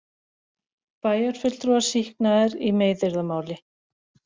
Bæjarfulltrúar sýknaðir í meiðyrðamáli